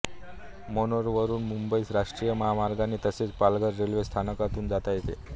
मनोरवरून मुंबईस राष्ट्रीय महामार्गाने तसेच पालघर रेल्वे स्थानकातून जाता येते